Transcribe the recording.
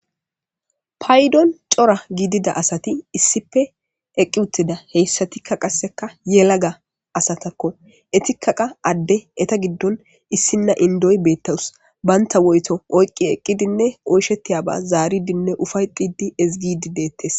Paydon c'ora gidida asati issipe eqiwutida heysatika qaseka yelaga asatako entika qa ade eta gidon issina Indoy betawuse banta woyto oyqi eqidine oyshetiyaba zaridine ufaytidi ezi gidi detes.